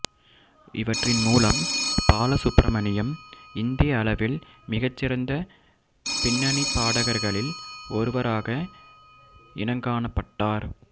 இவற்றின் மூலம் பாலசுப்பிரமணியம் இந்திய அளவில் மிகச்சிறந்த பின்னணிப்பாடகர்களில் ஒருவராக இனங்காணப்பட்டார்